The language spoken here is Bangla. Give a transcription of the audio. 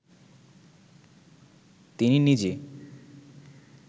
তিনি নিজে